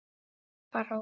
Harpa Rós.